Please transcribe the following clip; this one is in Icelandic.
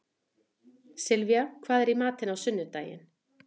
Sylvía, hvað er í matinn á sunnudaginn?